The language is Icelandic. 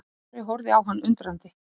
Ari horfði á hann undrandi.